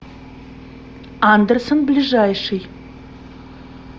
андерсон ближайший